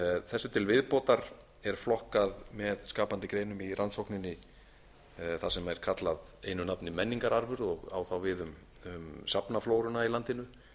þessu til viðbótar er flokkað með skapandi greinum í rannsókninni þar sem er kallað einu nafni menningararfur og á þá við um safnaflóruna í landinu